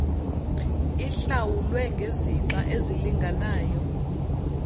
ihlawulwe ngezixa ezilinganayo